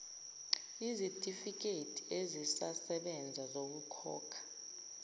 izitifikedi ezisasebeza zokukhokha